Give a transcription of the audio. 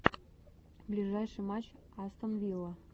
ближайший матч астон вилла